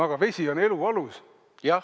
Aga vesi on ju elu alus.